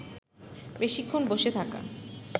বেশিক্ষণ বসে থাকা